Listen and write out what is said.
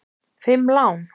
Fimm lán!